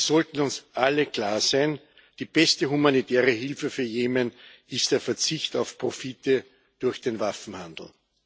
Es sollte uns allen klar sein Die beste humanitäre Hilfe für Jemen ist der Verzicht auf Profite durch den Waffenhandel.